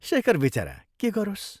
शेखर बिचरा के गरोस्?